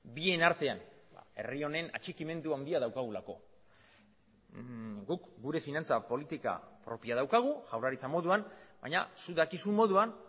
bien artean herri honen atxikimendu handia daukagulako guk gure finantza politika propioa daukagu jaurlaritza moduan baina zuk dakizun moduan